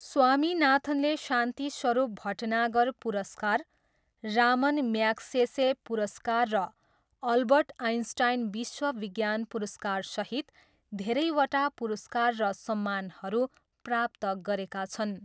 स्वामीनाथनले शान्ति स्वरूप भटनागर पुरस्कार, Ramon Magsaysay पुरस्कार र अल्बर्ट आइन्स्टाइन विश्व विज्ञान पुरस्कारसहित धेरैवटा पुरस्कार र सम्मानहरू प्राप्त गरेका छन्।